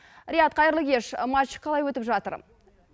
риат қайырлы кеш матч қалай өтіп жатыр